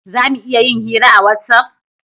Za mu iya yin hira a watsapp?